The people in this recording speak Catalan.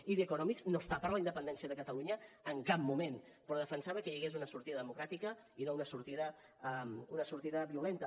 i the economist no està per la independència de catalunya en cap moment però defensava que hi hagués una sortida democràtica i no una sortida violenta